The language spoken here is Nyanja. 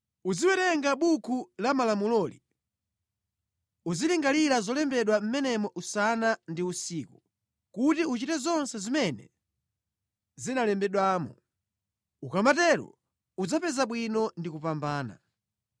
Uziwerenga Buku la Malamuloli, uzilingalira zolembedwa mʼmenemo usana ndi usiku, kuti uchite zonse zimene zinalembedwamo. Ukamatero udzapeza bwino ndi kupambana.